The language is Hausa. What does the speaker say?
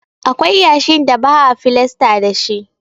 Akwai yashin da ba a filasta dashi.